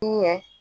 Ɲɛ